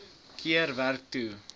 keer werk toe